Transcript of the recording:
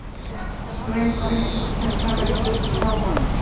Ströng öryggisgæsla var í kringum páfa